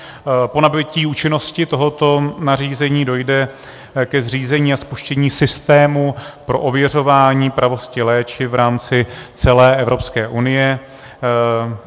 Po nabytí účinnosti tohoto nařízení dojde ke zřízení a spuštění systému pro ověřování pravosti léčiv v rámci celé Evropské unie.